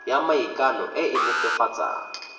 ya maikano e e netefatsang